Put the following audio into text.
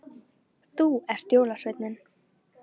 Þú ert jólasveinninn